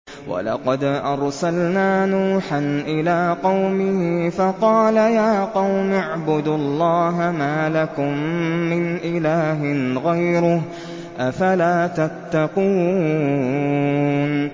وَلَقَدْ أَرْسَلْنَا نُوحًا إِلَىٰ قَوْمِهِ فَقَالَ يَا قَوْمِ اعْبُدُوا اللَّهَ مَا لَكُم مِّنْ إِلَٰهٍ غَيْرُهُ ۖ أَفَلَا تَتَّقُونَ